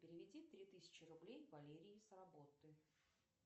переведи три тысячи рублей валерии с работы